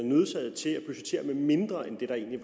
nødsaget til at budgettere med mindre end det der egentlig